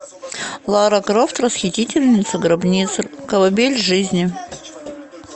лара крофт расхитительница гробниц колыбель жизни